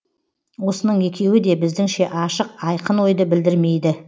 осының екеуі де біздіңше ашық айқын ойды білдірмейді